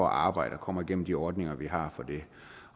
arbejde og kommer igennem de ordninger vi har for det